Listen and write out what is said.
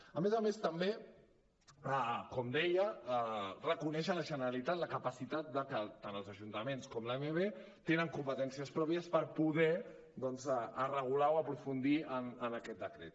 a més a més també com deia reconeix a la generalitat la capacitat de que tant els ajuntaments com l’amb tenen competències pròpies per poder doncs regular o aprofundir en aquest decret